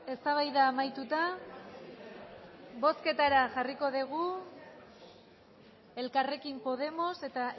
eztabaida amaituta bozketara jarriko dugu elkarrekin podemos eta